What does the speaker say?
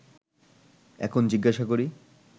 এখন জিজ্ঞাসা করি